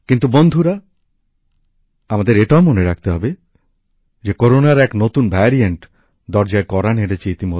কিন্তু বন্ধুরা আমাদের এটাও মনে রাখতে হবে যে করোনার এক নতুন ভ্যারিয়েন্ট ইতিমধ্যেই দরজায় কড়া নেড়েছে